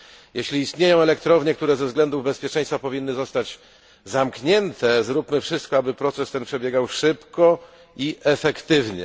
Jeśli istnieją elektrownie, które ze względów bezpieczeństwa powinny zostać zamknięte, zróbmy wszystko, aby proces ten przebiegał szybko i efektywnie.